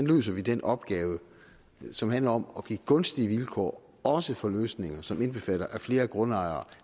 løser den opgave som handler om at give gunstige vilkår også for løsninger som indbefatter at flere grundejere